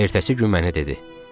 Ertəsi gün mənə dedi: